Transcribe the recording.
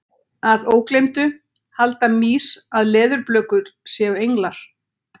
Að ógleymdu: Halda mýs að leðurblökur séu englar?